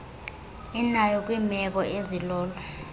inayo kwiimeko ezilolo